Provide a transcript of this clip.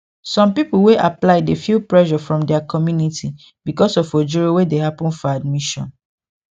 some people wey apply dey feel pressure from their community because of ojoro wey dey happen for admission